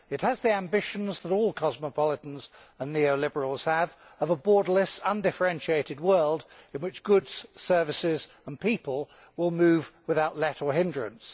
It has the ambitions that all cosmopolitans and neo liberals have, of a borderless, undifferentiated world in which goods, services and people will move without let or hindrance.